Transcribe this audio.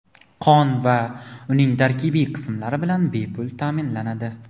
qon va uning tarkibiy qismlari bilan bepul ta’minlanadi;.